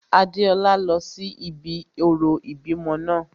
Adéọlá lọ sí ibi orò ìbímọ náà